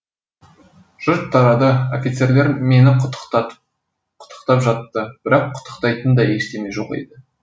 жұрт тарады офицерлер мені құттықтап жатты бірақ құттықтайтын да ештеме жоқ еді